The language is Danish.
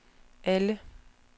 alle